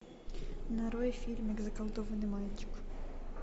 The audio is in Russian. нарой фильмик заколдованный мальчик